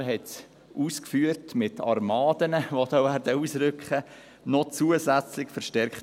der Motionär hat es ausgeführt mit den Armadas, die da ausrücken werden.